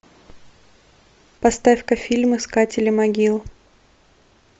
поставь ка фильм искатели могил